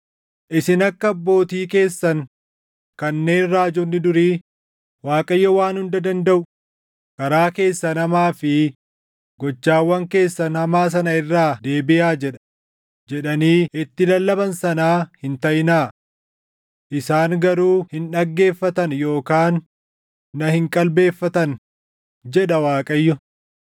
Isin akka abbootii keessan kanneen raajonni durii, Waaqayyo Waan Hunda Dandaʼu, ‘Karaa keessan hamaa fi gochawwan keessan hamaa sana irraa deebiʼaa’ jedha, jedhanii itti lallaban sanaa hin taʼinaa. Isaan garuu hin dhaggeeffatan yookaan na hin qalbeeffatan, jedha Waaqayyo.